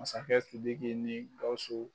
Masakɛ Sidiki ni Gawusu